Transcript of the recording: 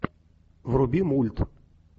вруби мульт